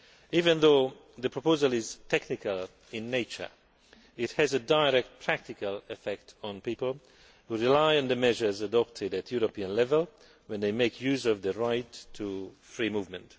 Even though the proposal is technical in nature, it has a direct, practical impact on people who rely on the measures adopted at European level when they make use of the right to free movement.